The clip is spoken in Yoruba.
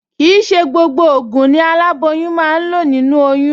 Kì í ṣe gbogbo ògùn ni aláboyún máa ń lò nínú oyún